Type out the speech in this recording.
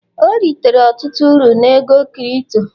ọ ritere ọtụtụ uru na ego kirito